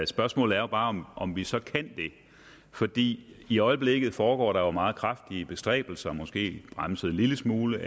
spørgsmålet er jo bare om om vi så kan det fordi i øjeblikket foregår der jo meget kraftige bestræbelser måske bremset en lille smule